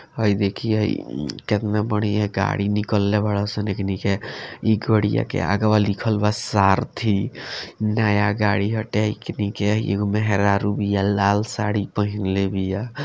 हई देखीं हई उम केतना बढ़िया गाड़ी निकलले बाड़न स एखनी के ई गड़िया के अगवा लिखल बा सारथी नया गाड़ी बा एखनी के एगो मेहरारू बिया लाल साड़ी पहिनले बिया।